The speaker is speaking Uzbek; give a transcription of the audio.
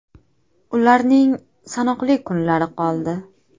Ularning sanoqli kunlari qoldi!